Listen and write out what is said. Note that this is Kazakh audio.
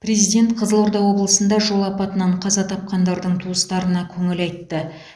президент қызылорда облысында жол апатынан қаза тапқандардың туыстарына көңіл айтты